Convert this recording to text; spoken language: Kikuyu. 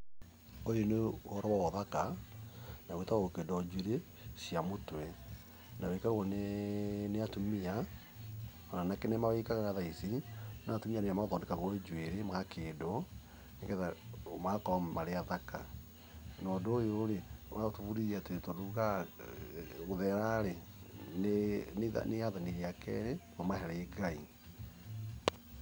Ũyũ nĩ ũhoro wa ũthaka, na gwĩtagwo gũkĩndwo njũĩrĩ cia mũtwe, na wĩkagwo nĩ atumia, anake nĩ mawĩkaga thaa ici, no atumia nĩo mathondekagwo njuĩrĩ, magakĩndwo, nĩgetha magakorwo marĩ athaka. Na ũndũ ũyũ ũgatũbundithia atĩ, tondũ tũgaga gũthera ĩ nĩ rĩathani rĩa kerĩ kũma harĩ Ngai.